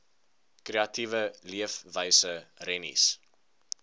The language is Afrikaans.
kreatiewe leefwyse rennies